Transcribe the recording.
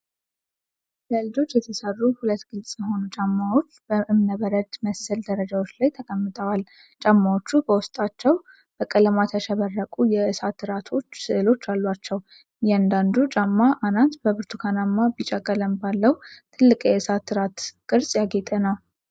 ለልጆች የተስሩ ሁለት ግልጽ የሆኑ ጫማዎች በእምነበረድ መሰል ደረጃዎች ላይ ተቀምጠዋል። ጫማዎቹ በውስጣቸው በቀለማት ያሸበረቁ የእሳት እራቶች ስዕሎች አሏቸው። የእያንዳንዱ ጫማ አናት በብርቱካንና ቢጫ ቀለም ባለው ትልቅ የእሳት እራት ቅርጽ ያጌጠ ነው።